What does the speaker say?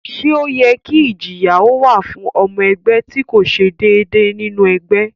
Ṣé ó yẹ kí ìjìyà ó wà fún ọmọ ẹgbẹ́ tí kò ṣe déédéé nínú ẹgbẹ́?